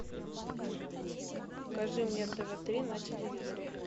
покажи мне тв три на телевизоре